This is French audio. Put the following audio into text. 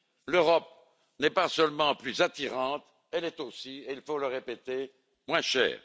L'Europe n'est pas seulement plus attirante, elle est aussi, il faut le répéter, moins chère.